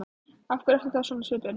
Af hverju ertu þá svona á svipinn?